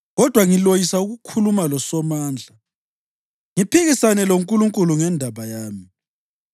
Kodwa ngiloyisa ukukhuluma loSomandla, ngiphikisane loNkulunkulu ngendaba yami.